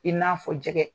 I n'a fɔ jɛgɛ